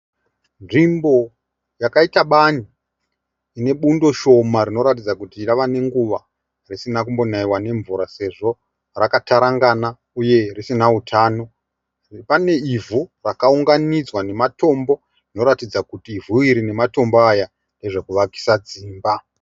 Nzvimbo yakaita bani inebundo shoma rinoratidza kuti rava nenguva risina kumbonaiwa nemvura sezvo rakatarangana uye risina utano. Pane ivhu rakaunganidzwa nematombo zvinoratidza ivhu iri nematombo aya ndezvekuvakisa dzimba.